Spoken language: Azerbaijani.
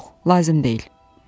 Yox, lazım deyil.